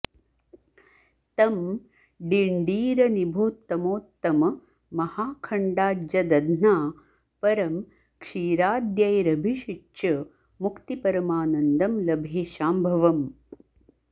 तं डिण्डीरनिभोत्तमोत्तम महाखण्डाज्यदध्ना परं क्षीराद्यैरभिषिच्य मुक्तिपरमानन्दं लभे शाम्भवम्